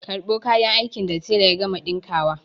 Karɓo kayan aikin da tela ya gama ɗinkawa!